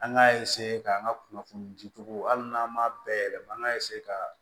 An k'a ka an ka kunnafoni di cogo hali n'an ma bayɛlɛma an ka ka